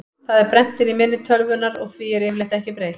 Það er brennt inn í minni tölvunnar og því er yfirleitt ekki breytt.